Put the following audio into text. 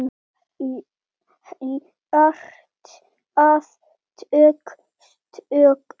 Hjartað tók stökk!